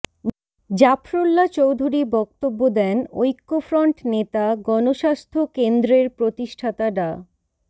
জাফরুল্লাহ চৌধুরী বক্তব্য দেন ঐক্যফ্রন্ট নেতা গণস্বাস্থ্য কেন্দ্রের প্রতিষ্ঠাতা ডা